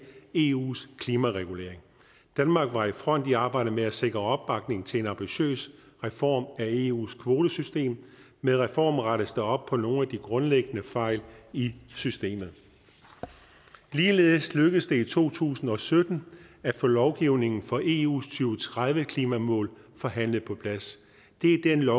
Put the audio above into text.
eus klimaregulering danmark var i front i arbejdet med at sikre opbakning til en ambitiøs reform af eus kvotesystem med reformen rettes der op på nogle af de grundlæggende fejl i systemet ligeledes lykkedes det i to tusind og sytten at få lovgivningen for eus og tredive klimamål forhandlet på plads det er den nye